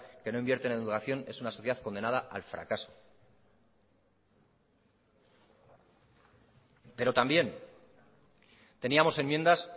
que no invierte en educación es una sociedad condenada al fracaso pero también teníamos enmiendas